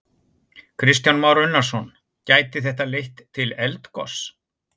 Kristján Már Unnarsson: Gæti þetta leitt til eldgoss?